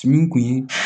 Min kun ye